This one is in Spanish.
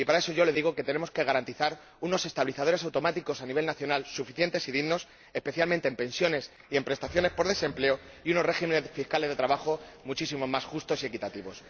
Y para eso, yo les digo que tenemos que garantizar unos estabilizadores automáticos a nivel nacional suficientes y dignos, especialmente en pensiones y en prestaciones por desempleo, y unos regímenes fiscales de trabajo muchísimo más justos y equitativos.